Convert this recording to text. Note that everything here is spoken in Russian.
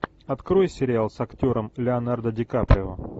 открой сериал с актером леонардо ди каприо